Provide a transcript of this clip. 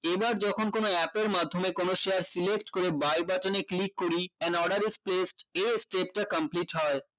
এবার যখন কোনো app এর মাধ্যমে কোনো share select করে buy button এ click করি an order is placed এই step তা complete হয়